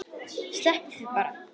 Sleppið því bara.